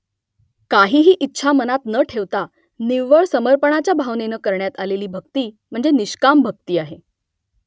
काहीही इच्छा मनात न ठेवता निव्वळ समर्पणाच्या भावनेनं करण्यात आलेली भक्ती म्हणजे निष्काम भक्ती आहे